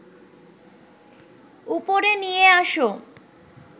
উপরে নিয়ে আস